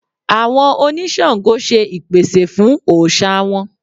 Àwọn oní Ṣàǹgó ṣe ìpèsè fún òòṣà wọn.